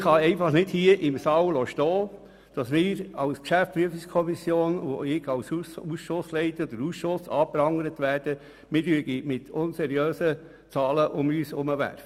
Aber ich kann nicht hier im Saal des Grossen Rats stehen lassen, dass wir als GPK und ich als Ausschussleiter anprangert werden, wir würden mit unseriösen Zahlen um uns werfen.